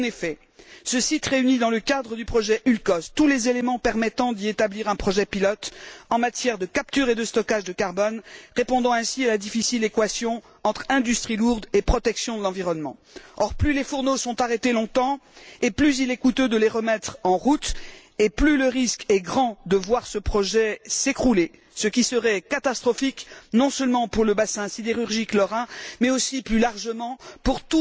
En effet, ce site réunit, dans le cadre du projet Ulcos, tous les éléments permettant d'y établir un projet pilote en matière de captage et de stockage du CO2, répondant ainsi à la difficile équation entre industrie lourde et protection de l'environnement. Or, plus les hauts fourneaux sont arrêtés longtemps, plus il est coûteux de les remettre en route et plus le risque est grand de voir ce projet s'écrouler, ce qui serait catastrophique non seulement pour le bassin sidérurgique lorrain mais aussi plus largement pour